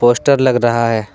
Poster लग रहा है।